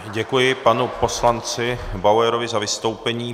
Děkuji panu poslanci Bauerovi za vystoupení.